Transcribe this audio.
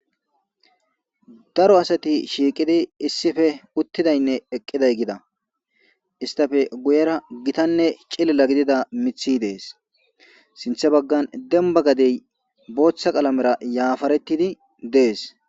Daro asatti shiiqidi issife uttidayne eqqiday gida. Istappe guyera gittayne cilila gidida mithi deesi. Sinththe baggan demba gadey booththa qalamera yafaretiddi deesi.